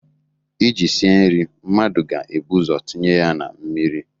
iji sie nri mmadụ ga-ebu ụzọ tinye ya na mmiri